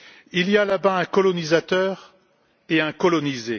Il y a là bas un colonisateur et un colonisé.